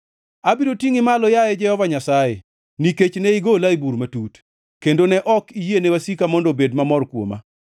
Abiro tingʼi malo, yaye Jehova Nyasaye, nikech ne igola e bur matut, kendo ne ok iyiene wasika mondo obed mamor kuoma.